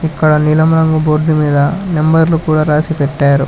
ఇక్కడ నీలం రంగు బోర్డు మీద నెంబర్లు కూడా రాసి పెట్టారు.